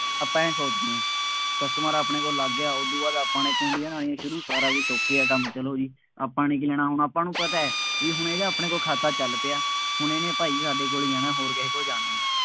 ਆਪਾਂ ਆਏਂ ਸੋਚਦੇ ਹਾਂ, customer ਆਪਣੇ ਕੋਲ ਲੱਗ ਗਿਆ, ਉਦੋਂ ਬਾਅਦ ਆਪਾਂ ਨੇ ਕੂੰਡੀਆਂ ਲਾਉਣੀਆਂ ਸ਼ੁਰੂ, ਸਾਰਾ ਕੁੱਝ okay ਆ ਕੰਮ, ਚੱਲੋ ਜੀ, ਆਪਾਂ ਨੇ ਕੀ ਲੈਣਾ ਹੁਣ, ਆਪਾਂ ਨੂੰ ਪਤਾ ਹੈ, ਬਈ ਇਹਦਾ ਹੁਣ ਆਪਾਂ ਕੋਲ ਖਾਤਾ ਚੱਲ ਪਿਆ। ਹੁਣ ਇਹਨੇ ਭਾਈ ਸਾਡੇ ਕੋਲ ਹੀ ਆਉਣਾ, ਹੋਰ ਕਿਸੇ ਕੋਲ ਜਾਣਾ ਨਹੀਂ।